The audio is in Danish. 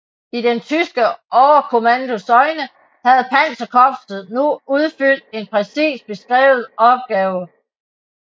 I den tyske overkommandos øjne havde panserkorpset nu udfyldt en præcis beskrevet opgave